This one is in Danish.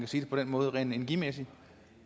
sige det på den måde rent energimæssigt